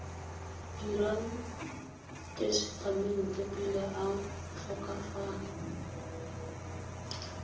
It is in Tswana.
dirang tesetamente pele a tlhokafala